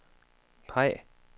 peg